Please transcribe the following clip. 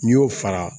N'i y'o fara